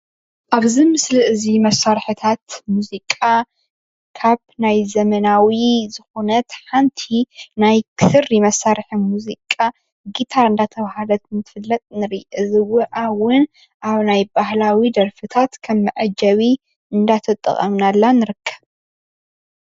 አብዚ ምስሊ እዚ መሳርሕታት ሙዚቃ ካብ ናይ ዘመናዊ ዝኮነት ሓንቲ ናይ ክሪ መሳርሒ ሙዚቃ ጊታር እንዳተባሃለት እትፍለጥ ንርኢ፡፡ እዚኣ እውን ኣብ ናይ ባህላዊ ደርፍታት ከም መዐጀቢ እንዳተጠቀምናላ ንርከብ፡፡